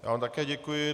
Já vám také děkuji.